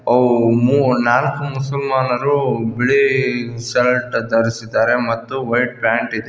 ಓಹ್ ನಾಲ್ಕು ಮುಸಲ್ಮಾನರು ಬಿಳಿ ಶರ್ಟು ಧರಿಸಿದ್ದಾರೆ ಮತ್ತು ವೈಟ್ ಪ್ಯಾಂಟ್ ಇದೆ.